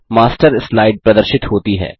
master slide प्रदर्शित होती है